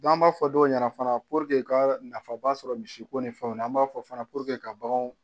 an b'a fɔ dɔw ɲɛna fana k'a nafaba sɔrɔ misiko ni fɛnw na an b'a fɔ fana ka baganw